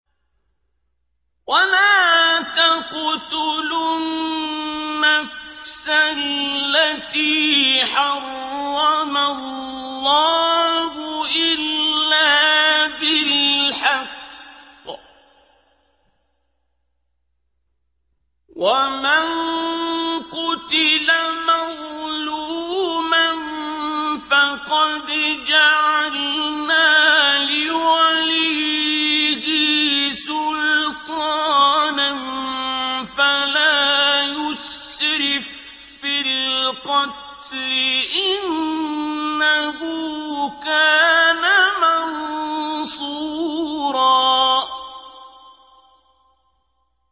وَلَا تَقْتُلُوا النَّفْسَ الَّتِي حَرَّمَ اللَّهُ إِلَّا بِالْحَقِّ ۗ وَمَن قُتِلَ مَظْلُومًا فَقَدْ جَعَلْنَا لِوَلِيِّهِ سُلْطَانًا فَلَا يُسْرِف فِّي الْقَتْلِ ۖ إِنَّهُ كَانَ مَنصُورًا